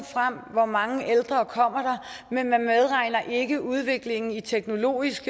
hvor mange ældre der kommer men man medregner ikke udviklingen i teknologisk